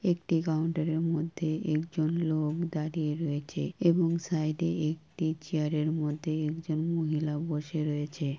একটি কাউন্টার -এর মধ্যে একজন লোক দাঁড়িয়ে রয়েছে এবং সাইড - এ একটি চেয়ারের মধ্যে একজন মহিলা বসে রয়েছে